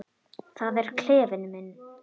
Það er klefinn minn.